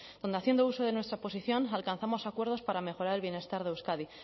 donde haciendo uso de nuestra posición alcanzamos acuerdos para mejorar el bienestar de euskadi